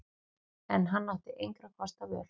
En hann átti engra kosta völ.